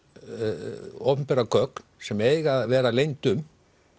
opinberar gögn sem eiga að vera leynd um